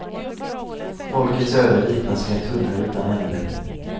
Folkets öde liknas vid en tunnel utan ände.